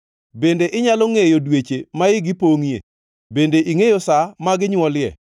Bende inyalo ngʼeyo dweche ma igi pongʼie? Bende ingʼeyo sa ma ginywolie?